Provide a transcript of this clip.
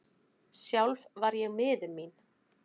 Sjálf var ég miður mín.